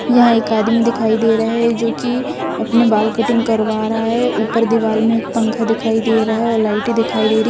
यहां एक आदमी दिखाई दे रहा है जो कि अपने बाल कटिंग करवा रहा है उपर दीवाल में एक पंखा दिखाई दे रहा है और लाइटे दिखाई दे रही--